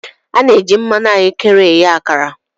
A na-eji mmanụ ahụekere eghe akara.